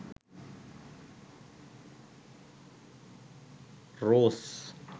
rose